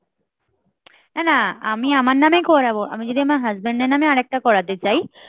এ না আমি আমার নামেই করাবো আমি যদি আমার husband এর নামে আরেকটা করাতে চাই